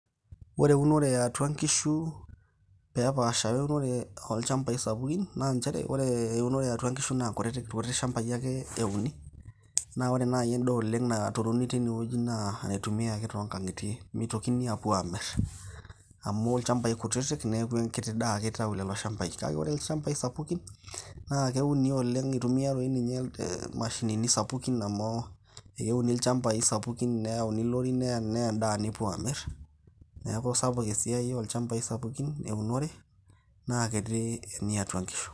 Ore eunore e atua inkishu pee epasha we eunore olchambai sapuki, naa njere, ore eunore eatua inkishu naa irkutik shambai ake euni naa ore nai endaa oleng' naturini tine wueji naa enaitumiai ake too ng'ang'itie mitokini aapuo aamir amu ilchambai kutitik neeku enkiti daa ake itau lelo shambai. Kake ore ilchambai sapuki, naake keuni oleng' itumia toi ninye mashinin sapuki amu euni ilchambai sapuki neyauni ilorin neya endaa nepuo aamir. Neeku sapuk esiai olchambai sapuki eunore naa kiti eniatua inkishu.